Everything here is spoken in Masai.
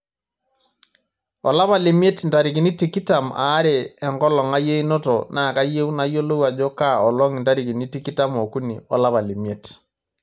olapa lemiet intarikini tikitam aare enkolong' ai einoto naa kayieu nayiolou ajo kaa olong' intarikini tikitam okuni olapa lemiet